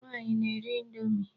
Nwaanyị na-eri indomi.